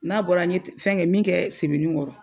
N'a bɔra ne ye fɛn kɛ min kɛ sɛbɛnikɔrɔ.